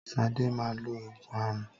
Sadé máa lo oògùn aràn